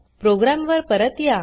programme वर परत या